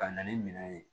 Ka na ni minɛn ye